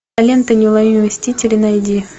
лента неуловимые мстители найди